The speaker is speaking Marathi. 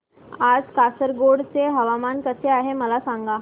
आज कासारगोड चे हवामान कसे आहे मला सांगा